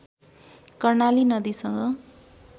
कर्णाली नदीसँग